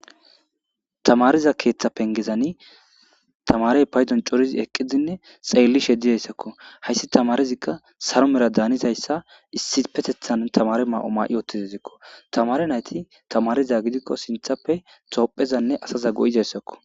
Tamariza keeththa pengezani tamarey paydon corizi eqqidinne xeellishe dizayssakko hayssi tamarizikka saro mera daanizayssa issi petethan tamare maa7o ma7i oottizezikko tamare nayti tamariza gidikko sinthappe toophezanne asaza go7izayssakko.